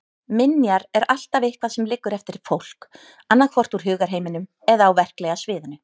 Minjar er alltaf eitthvað sem liggur eftir fólk, annaðhvort úr hugarheiminum eða á verklega sviðinu.